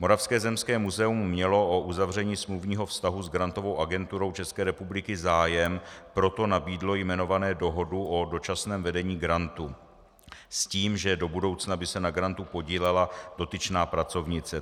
Moravské zemské muzeum mělo o uzavření smluvního vztahu s Grantovou agenturou České republiky zájem, proto nabídlo jmenované dohodu o dočasném vedení grantu s tím, že do budoucna by se na grantu podílela dotyčná pracovnice.